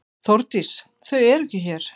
Þórdís: Þau eru ekki hér.